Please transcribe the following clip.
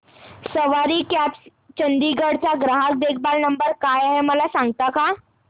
सवारी cabs Chandigarh चा ग्राहक देखभाल नंबर काय आहे मला सांगता का